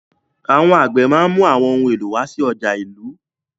Àwọn àgbẹ̀ máa ń mú àwọn ohun èlò wá sí ọjà ìlú.